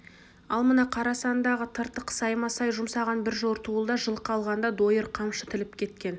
ал мына қара сандағы тыртық саймасай жұмсаған бір жортуылда жылқы алғанда дойыр қамшы тіліп кеткен